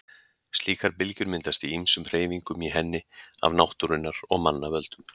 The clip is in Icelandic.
Slíkar bylgjur myndast í ýmsum hreyfingum í henni af náttúrunnar og manna völdum.